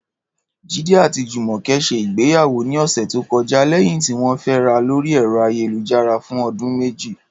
Jídé àti Jùmò̩ke̩ s̩e ìgbéyàwó ní ò̩sè̩ tó ko̩já lé̩yìn tí wó̩n fé̩ra lórí è̩ro̩ ayélujára fún o̩dún méjì